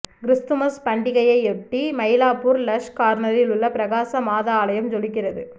Christmas பண்டியகையொட்டி மயிலாப்பூர் லஸ் கார்னரில் உள்ள பிரகாச மாதா ஆலயம் ஜொலிக்கிறது